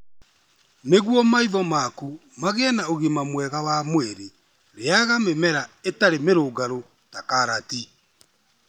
Nĩguo maitho maku magĩe na ũgima mwega wa mwĩrĩ, rĩaga mĩmera ĩtarĩ mĩrũngarũ ta karati.